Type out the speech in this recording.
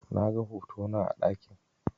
Naga hotona a ɗakin.